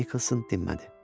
Nikolson dinmədi.